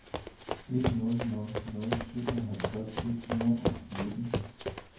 en nul nul nul syvoghalvtreds et hundrede og nitten